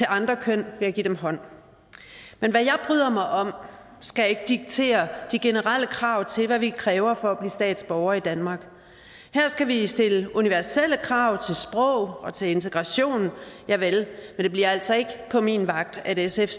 andre køn ved at give dem hånd men hvad jeg bryder mig om skal ikke diktere de generelle krav til hvad vi kræver for at blive statsborger i danmark her skal vi stille universelle krav til sprog og til integration javel men det bliver altså ikke på min vagt at sf